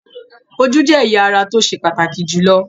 Ojú jẹ́ ẹ̀yà ara tó ṣe pàtàkì jùlọ.